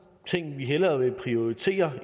ting vi hellere vil prioritere